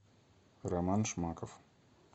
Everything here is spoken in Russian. роман шмаков